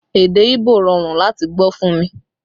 Èdè Ibo rọrùn láti gbọ́ fún mi